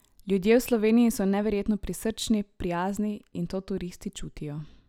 Ljudje v Sloveniji so neverjetno prisrčni, prijazni, in to turisti čutijo.